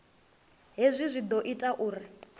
hezwi zwi ḓo ita uri